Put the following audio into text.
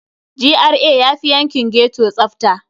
GRA yafi yankin ghetto tsafta.